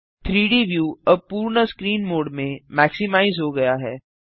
3डी व्यू अब पूर्ण स्क्रीन मोड में मैक्सिमाइज हो गया है